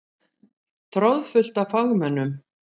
Troðfullt af fagmönnum.